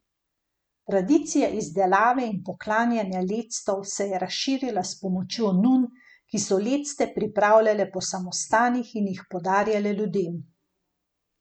Tradicija izdelave in poklanjanja lectov se je razširila s pomočjo nun, ki so lecte pripravljale po samostanih in jih podarjale ljudem.